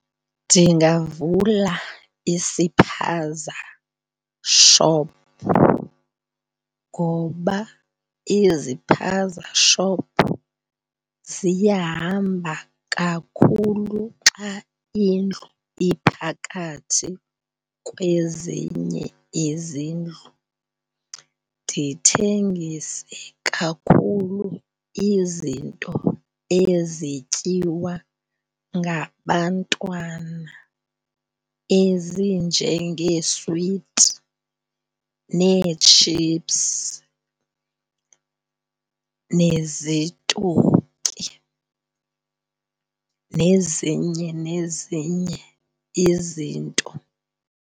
Ndingavula isiphaza shop ngoba iziphaza shop ziyahamba kakhulu xa indlu iphakathi kwezinye izindlu. Ndithengise kakhulu izinto ezityiwa ngabantwana ezinjengeeswiti nee-chips nezitoki nezinye nezinye izinto.